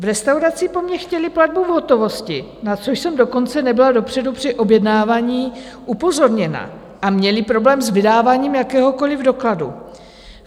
V restauraci po mně chtěli platbu v hotovosti, na což jsem dokonce nebyla dopředu při objednávání upozorněna, a měli problém s vydáváním jakéhokoliv dokladu.